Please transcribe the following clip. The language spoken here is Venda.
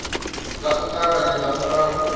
nga u ṱavhanya nga murahu